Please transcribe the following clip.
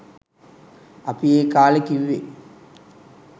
අපි ඒ කාලෙ කිව්වෙ